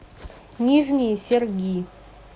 нижние серги